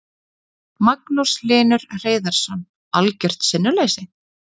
Magnús Hlynur Hreiðarsson: Algjört sinnuleysi?